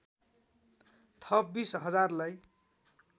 थप २० हजारलाई